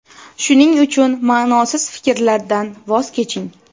Shuning uchun ma’nosiz fikrlardan voz keching.